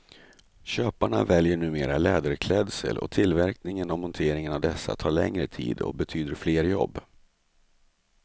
Köparna väljer numera läderklädsel och tillverkning och montering av dessa tar längre tid och betyder flera jobb.